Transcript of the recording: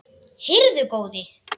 Heyrðu góði.